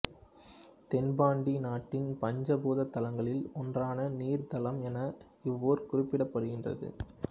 தென்பாண்டி நாட்டின் பஞ்ச பூத தலங்களில் ஒன்றான நீர் தலம் என இவ்வூர் குறிப்பிடப்படுகின்றது